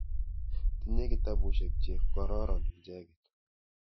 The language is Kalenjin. Tinye kitapusyek che kororon icheket.